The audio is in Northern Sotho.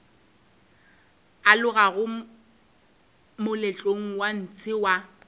alogago moletlong wa ntshe wa